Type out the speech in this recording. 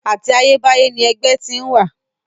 Àti ayébáyé ni ẹgbẹ́ ti ń wà.